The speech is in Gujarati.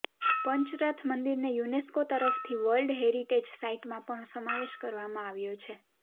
પંચરથ મંદિરને યુનેસ્કો તરફથી વર્લ્ડ હેરિટેજ સાઈટમાં પણ સમાવેશ કરવામાં આવ્યો છે